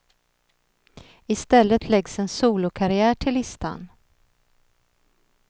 I stället läggs en solokarriär till listan.